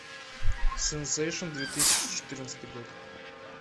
сенсейшен две тысячи четырнадцатый год